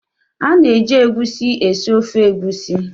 A na-eji egusi esi ofe egusi.